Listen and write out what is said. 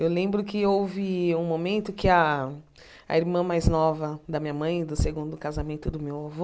Eu lembro que houve um momento que a a irmã mais nova da minha mãe, do segundo casamento do meu avô,